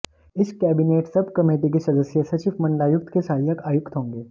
इस cabinet sub committee के सदस्य सचिव मंडलायुक्त के सहायक आयुक्त होंगे